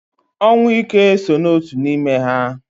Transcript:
Ọnwụ ike so n'otu n'ime ha